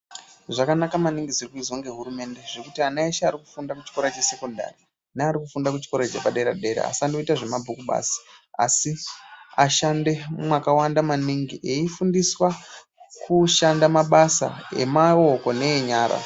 Zvakanaka maningi zviri kuizwa ngehurumende zvekuti, ana eshe ari kufunda kuchikora chesekondari neari kuchikora chepadera-dera, asandoita zvemabhuku ega, asi ashande mwakawanda maningi eifundiswa kushanda mabasa emaoko neenyara.